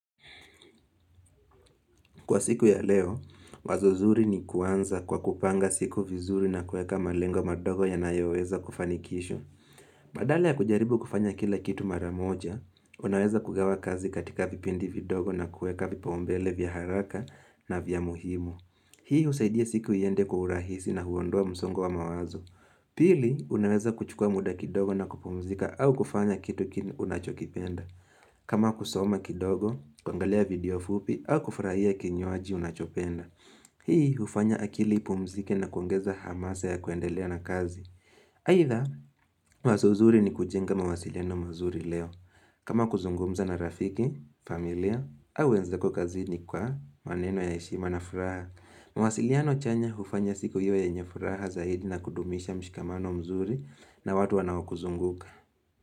Kwa siku ya leo, wazo zuri ni kuanza kwa kupanga siku vizuri na kueka malengo madogo yanayoweza kufanikishwa. Badala ya kujaribu kufanya kila kitu mara moja, unaweza kugawa kazi katika vipindi vidogo na kueka vipaumbele vya haraka na vya muhimu. Hii husaidia siku iende kwa urahisi na huondoa msongo wa mawazo. Pili, unaweza kuchukua muda kidogo na kupumzika au kufanya kitu unachokipenda. Kama kusoma kidogo, kuangalia video fupi, au kufurahia kinywaji unachopenda. Hii hufanya akili ipumzike na kuongeza hamasa ya kuendelea na kazi. Aidha, wazo zuri ni kujenga mawasiliano mazuri leo. Kama kuzungumza na rafiki, familia, au wenzako kazini kwa maneno ya heshima na furaha. Mawasiliano chanya hufanya siku iwe yenye furaha zaidi na kudumisha mshikamano mzuri na watu wanao kuzunguka.